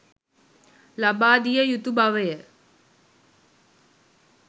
ලබාදිය යුතු බවය